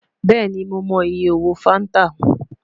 Bẹẹni Mo mọ iye owo fanta